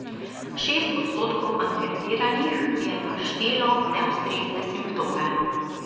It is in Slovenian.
Šest odstotkov anketiranih je naštelo neustrezne simptome.